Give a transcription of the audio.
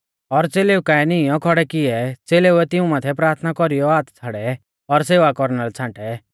और च़ेलेऊ काऐ नीईंयौ खौड़ै किऐ च़ेलेऊ ऐ तिऊं माथै प्राथना कौरीऔ हाथ छ़ाड़ै और सेवा कौरना लै छ़ांटै